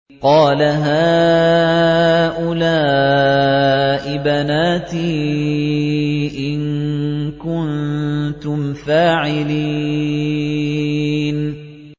قَالَ هَٰؤُلَاءِ بَنَاتِي إِن كُنتُمْ فَاعِلِينَ